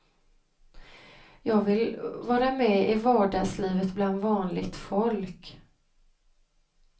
Jag vill vara med i vardagslivet bland vanligt folk.